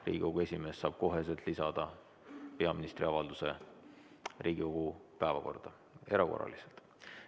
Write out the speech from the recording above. Riigikogu esimees saab kohe lisada peaministri avalduse Riigikogu päevakorda erakorraliselt.